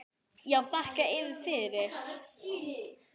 Já, þakka yður fyrir.